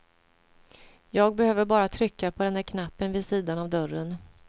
Jag behöver bara trycka på den där knappen vid sidan av dörren.